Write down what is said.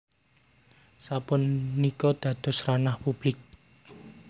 Sapunika dados ranah publik